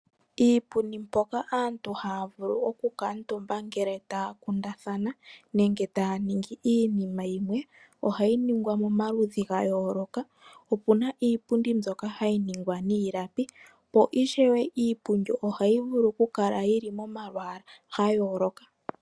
Iipundi mpoka aantu haya vulu okukala ngele taÿa kundathana nenge taya ningi iinima yimwe ohayi ningwa momaludhi ga yooloka opu na iipundi mbyoka hayi ningwa niilapi po ishewe iipundi ohayi vulu okukala yili momalwaala gayooloka.